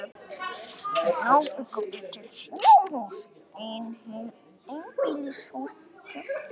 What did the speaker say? Þá bjuggum við til snjóhús, einbýlishús, kirkjur og skip.